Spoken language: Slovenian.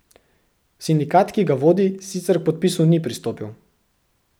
Sindikat, ki ga vodi, sicer k podpisu ni pristopil.